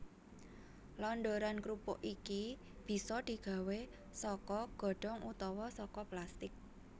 Londoran krupuk iki bisa digawé saka godhong utawa saka plastik